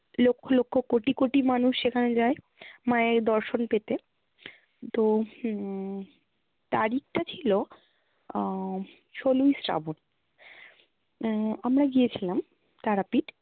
লক্ষ লক্ষ কোটি কোটি মানুষ সেখানে যায়, মায়ের দর্শন পেতে। তো হম তারিখটা ছিলো আহ ষোলোই শ্রাবণ আহ আমরা গিয়েছিলাম তারাপীঠ